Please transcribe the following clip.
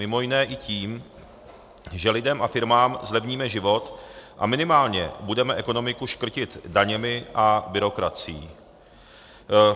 Mimo jiné i tím, že lidem a firmám zlevníme život a minimálně budeme ekonomiku škrtit daněmi a byrokracií.